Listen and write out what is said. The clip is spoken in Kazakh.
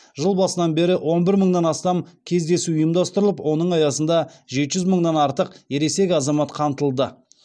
жыл басынан бері он бір мыңнан астам кездесу ұйымдастырылып оның аясында жеті жүз мыңнан артық ересек азамат қамтылды